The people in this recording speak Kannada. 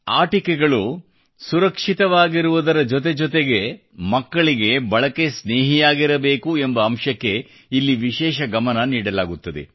ಆಟಿಕೆಗಳು ಸುರಕ್ಷಿತವಾಗಿರುವ ಜೊತೆಜೊತೆಗೆ ಮಕ್ಕಳಿಗೆ ಬಳಕೆ ಸ್ನೇಹಿಯಾಗಿರಬೇಕು ಎಂಬ ಅಂಶಕ್ಕೆ ಇಲ್ಲಿ ವಿಶೇಷ ಗಮನ ನೀಡಲಾಗುತ್ತದೆ